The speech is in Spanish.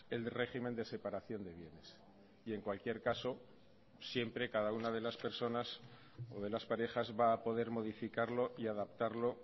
el régimen de separación de bienes y en cualquier caso siempre cada una de las personas o de las parejas va a poder modificarlo y adaptarlo